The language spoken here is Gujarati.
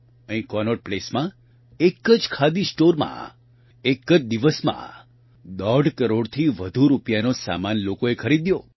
અહીં કોનોટ પ્લેસમાં એક જ ખાદી સ્ટોરમાં એક જ દિવસમાં દોઢ કરોડથી વધુ રૂપિયાનો સામાન લોકોએ ખરીદ્યો